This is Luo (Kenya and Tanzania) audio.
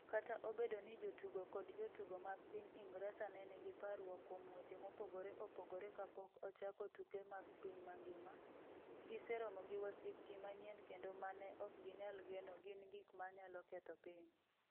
Kata obedo ni jotugo kod jotugo mag piny Ingresa ne nigi parruok kuom weche mopogore opogore kapok ochako tuke mag piny mangima, giseromo gi wasiki manyien kendo ma ne ok ginyal geno - gin gik ma nyalo ketho piny.